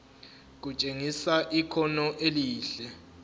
kutshengisa ikhono elihle